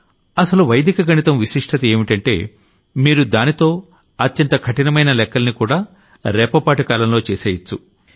అసలు వైదిక గణితం విశిష్టత ఏంటంటే మీరు దాంతో అత్యంత కఠిమైన లెక్కల్ని కూడా రెప్పపాటు కాలంలో చేసెయ్యొచ్చు